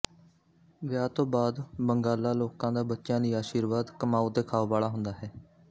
ਵਿਆਹ ਤੋਂ ਬਾਅਦ ਬੰਗਾਲਾ ਲੋਕਾਂ ਦਾ ਬੱਚਿਆਂ ਲਈ ਆਸ਼ੀਰਵਾਦ ਕਮਾਓ ਤੇ ਖਾਓ ਵਾਲਾ ਹੁੰਦਾ ਹੈ